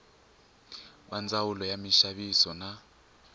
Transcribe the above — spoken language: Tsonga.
va ndzawulo ya minxaviso na